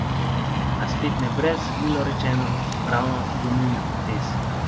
A spet ne brez, milo rečeno, pravno dvomljivih potez.